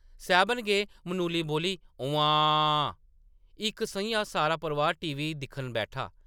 सैह्‌‌‌बन गै, मनुली बोल्ली, “उम्म्मांऽऽ!” इक सʼञां सारा परोआर टीवी दिक्खन बैठा ।